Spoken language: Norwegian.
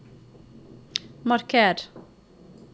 marker